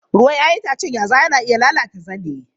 Ruwan 'ya'yan itacen yazawa na iya lalata zane.